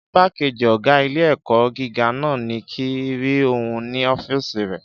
Ìgbákejì ọgá ilé-ẹ̀kọ́ gíga náà ní kíi n rí òun ní ọ́fìsì rẹ̀